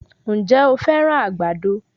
Ǹjẹ́ o fẹ́ràn àgbàdo?